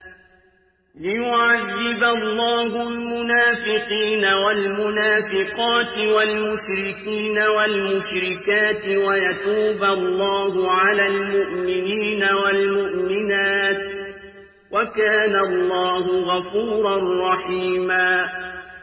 لِّيُعَذِّبَ اللَّهُ الْمُنَافِقِينَ وَالْمُنَافِقَاتِ وَالْمُشْرِكِينَ وَالْمُشْرِكَاتِ وَيَتُوبَ اللَّهُ عَلَى الْمُؤْمِنِينَ وَالْمُؤْمِنَاتِ ۗ وَكَانَ اللَّهُ غَفُورًا رَّحِيمًا